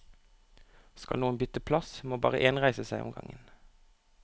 Skal noen bytte plass, må bare én reise seg om gangen.